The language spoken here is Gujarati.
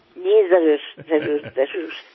જી જરૂર જરૂર જરૂર